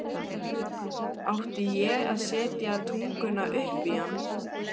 Átti ég að setja tunguna upp í hann?